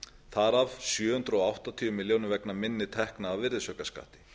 þar af sjö hundruð áttatíu milljónir króna vegna minni tekna af virðisaukaskatti